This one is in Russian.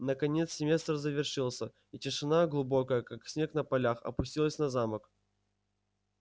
наконец семестр завершился и тишина глубокая как снег на полях опустилась на замок